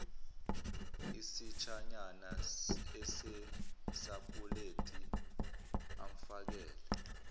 isitshanyana esisapuleti amfakele